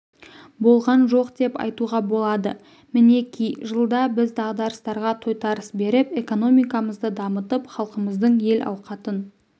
болған жоқ деп айтуға болады мінеки жылда біз дағдарыстарға тойтарыс беріп экономикамызды дамытып халқымыздың әл-ауқатын